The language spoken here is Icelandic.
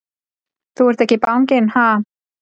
Þú ert ekki banginn, ha!